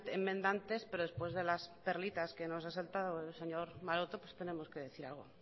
enmendantes pero después de las perlitas que nos ha soltado el señor maroto pues tenemos que decir algo